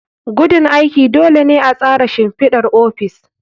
Gudun aiki. Dole ne a tsara shimfidar ofis.